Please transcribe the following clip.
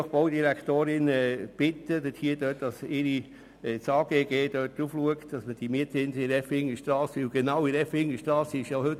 Ich möchte die Baudirektorin bitten, dass das AGG bei den Mietzinsen an der Effingerstrasse hinschaut.